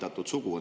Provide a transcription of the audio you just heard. Ja teine küsimus.